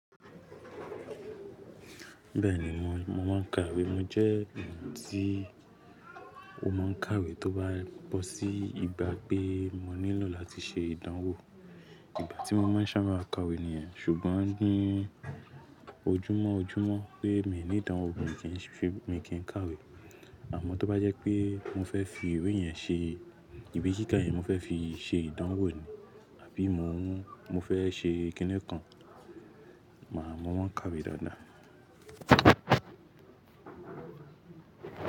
Bẹ́ẹ̀ni mò mọ́ máa ń kàwé. Mo jẹ́ ènìyàn tí ó máa ń kàwé tó bá bọ́ sí ìgbà pé mo nílò láti ṣe ìdánwò. Ìgbà tí mo máa ń sàbà kàwé nìyẹn ṣùgbọ́n ní ojúmọ̀ ojúmọ́ pé mi n ní ìdánwò kan mi kì í kàwé. Àmọ́ tó bá jẹ́ pé mo fẹ́ fi ìwé yẹn ṣe, ìwe kiká yẹn mo fẹ́ fi í ṣe ìdánwò ni àbí mo ń, mo fẹ́ ṣe kíni kan, màá mọ́ máa ń kàwé dáadáa.